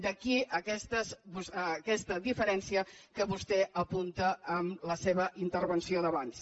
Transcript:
d’aquí aquesta diferència que vostè apunta amb la seva intervenció d’abans